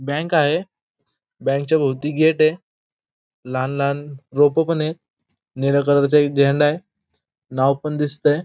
Bank आहे बँकच्या भोवती गेटय लहान लहान रोप पणय निळ्या कलरचा एक झेंडाय नाव पण दिसतय.